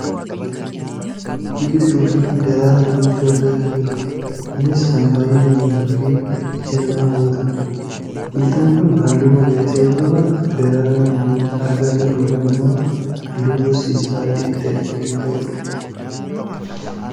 Biqiltuu fi daraaraa biqiltuu argaa kan jirrudha. Kunis kan baayyee miidhaguufi ija namaa hawwatudha. Biqiltuun kun halluu nagariisaa yoo qabaatu, daraaraan argaa jirru kun ammoo halluu gosti isaa adii ta'e kan qabudha.